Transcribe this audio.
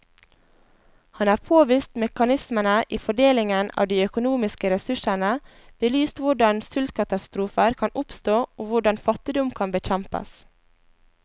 Han har påvist mekanismene i fordelingen av de økonomiske ressursene, belyst hvordan sultkatastrofer kan oppstå og hvordan fattigdom kan bekjempes.